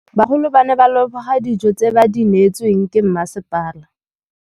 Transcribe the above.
Bagolo ba ne ba leboga dijô tse ba do neêtswe ke masepala.